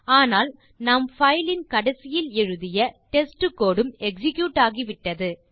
ஆனால் நாம் பைல் இன் கடைசியில் எழுதிய டெஸ்ட் கோடு உம் எக்ஸிக்யூட் ஆகிவிட்டது